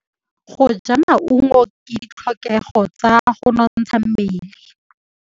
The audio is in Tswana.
Go ja maungo ke ditlhokegô tsa go nontsha mmele.